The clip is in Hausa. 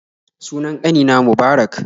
Sunan ƙanina Mubarak